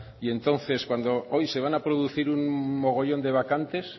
y entonces se van a producir un mogollón de vacantes